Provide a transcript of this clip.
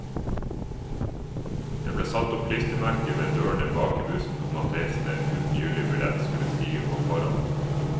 Det ble satt opp klistremerker ved dørene bak i bussen om at reisende uten gyldig billett skulle stige på foran.